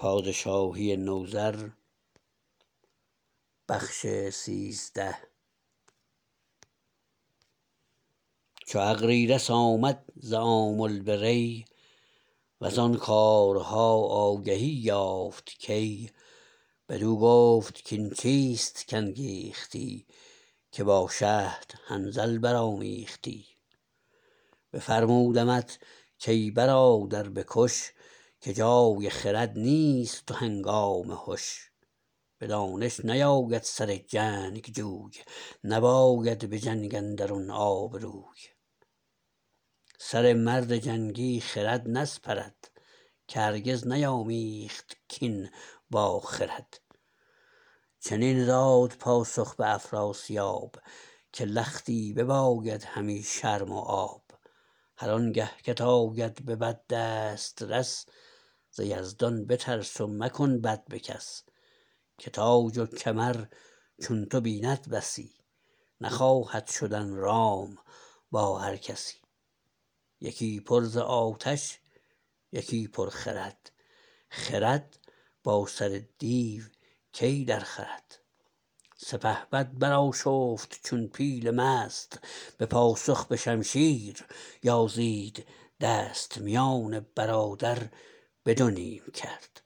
چو اغریرث آمد ز آمل به ری وزان کارها آگهی یافت کی بدو گفت کاین چیست کانگیختی که با شهد حنظل برآمیختی بفرمودمت کای برادر به کش که جای خرد نیست و هنگام هش به دانش نیاید سر جنگجوی نباید به جنگ اندرون آبروی سر مرد جنگی خرد نسپرد که هرگز نیامیخت کین با خرد چنین داد پاسخ به افراسیاب که لختی بباید همی شرم و آب هر آنگه کت آید به بد دسترس ز یزدان بترس و مکن بد به کس که تاج و کمر چون تو بیند بسی نخواهد شدن رام با هر کسی یکی پر ز آتش یکی پر خرد خرد با سر دیو کی درخورد سپهبد برآشفت چون پیل مست به پاسخ به شمشیر یازید دست میان برادر به دو نیم کرد